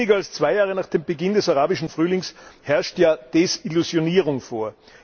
Weniger als zwei Jahre nach Beginn des Arabischen Frühlings herrscht ja Desillusionierung vor.